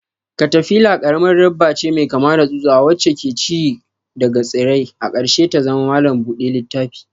Katafila karamar dabba ce mai kama da tsutsa wacce ke ci daga tsirrai, a ƙarshe ta zama malam buɗe littafi.